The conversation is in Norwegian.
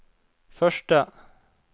første